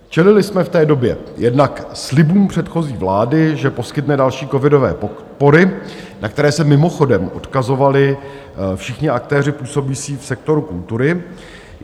Čelili jsme v té době jednak slibům předchozí vlády, že poskytne další covidové podpory, na které se mimochodem odkazovali všichni aktéři působící v sektoru kultury.